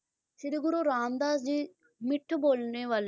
ਸ਼੍ਰੀ ਗੁਰੂ ਰਾਮਦਾਸ ਜੀ ਮਿੱਠ ਬੋਲਣੇ ਵਾਲੇ ਸੀ